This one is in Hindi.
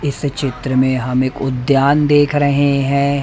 इस चित्र में हम एक उद्यान देख रहे हैं।